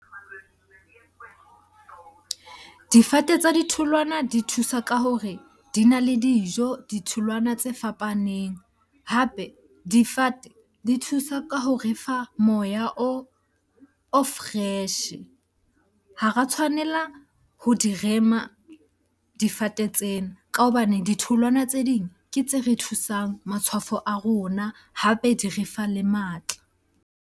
Difate tsa ditholwana di thusa ka hore di na le dijo, ditholwana tse fapaneng. Hape difate di thusa ka ho refa moya o fresh-e. Ha ra tshwanela ho di rema difate tsena ka hobane ditholwana tse ding ke tse re thusang matshwafo a rona, hape di re fa le matla.